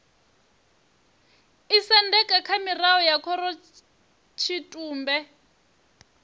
isendeka kha mirao ya khorotshitumbe